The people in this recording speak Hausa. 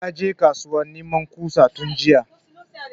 Ya je kasuwa neman ƙusa tun jiya